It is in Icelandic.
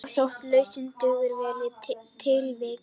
Og þótt lausnin dugir vel í tilviki